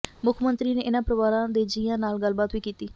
ਮੁੱਖ ਮੰਤਰੀ ਨੇ ਇਨ੍ਹਾਂ ਪਰਿਵਾਰਾਂ ਦੇ ਜੀਆਂ ਨਾਲ ਗੱਲਬਾਤ ਵੀ ਕੀਤੀ